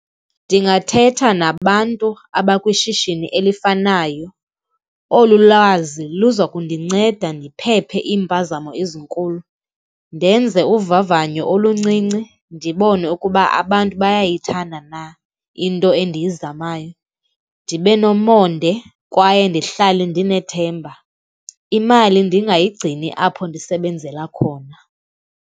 Ndingathetha nabantu abakwishishini elifanayo, olu lazi luza kundinceda ndiphephe iimpazamo ezinkulu. Ndenze uvavanyo oluncinci ndibone ukuba abantu bayayithanda na into endiyizamayo. Ndibe nomonde kwaye ndihlale ndinethemba, imali ndingayigcini apho ndisebenzela khona.